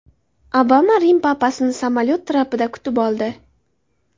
Obama Rim papasini samolyot trapida kutib oldi.